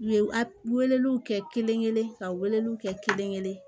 U ye a weleliw kɛ kelen-kelen ka weleliw kɛ kelen-kelen